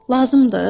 Lazımdır?